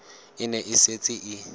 e ne e setse e